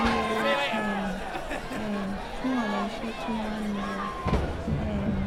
ẹ yẹra um um fún àwọn iṣẹ tó máa nira um